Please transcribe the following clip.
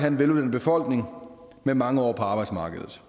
en veluddannet befolkning med mange år på arbejdsmarkedet